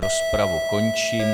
Rozpravu končím.